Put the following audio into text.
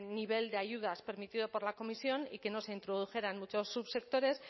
nivel de ayudas permitido por la comisión y que no se introdujeran muchos subsectores